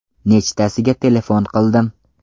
Nechtasiga telefon qildim.